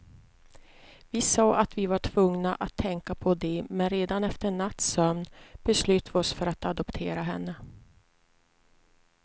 Vi sa att vi var tvungna att tänka på det, men redan efter en natts sömn beslöt vi oss för att adoptera henne.